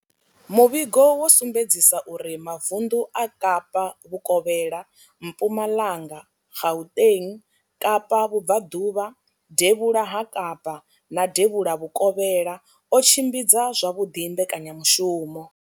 Muvhigo wo sumbedzisa uri mavundu a Kapa vhukovhela, Mpumalanga, Gauteng, Kapa vhubvaḓuvha, devhula ha Kapa na devhula vhukovhela o tshimbidza zwavhuḓi mbekanyamushumo.